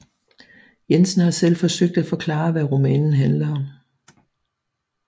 Jensen har selv forsøgt at forklare hvad romanen handler om